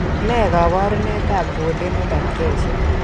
Ne kaabarunetap Duodenal atresia?